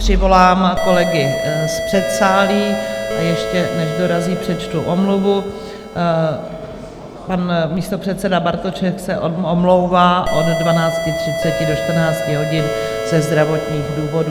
Přivolám kolegy z předsálí, a ještě než dorazí, přečtu omluvu: pan místopředseda Bartošek se omlouvá od 12.30 do 14 hodin ze zdravotních důvodů.